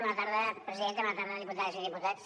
bona tarda presidenta bona tarda diputades i diputats